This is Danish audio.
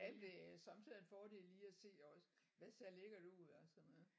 Ja men det er sommetider en fordel lige at se også hvad ser lækkert ud og sådan noget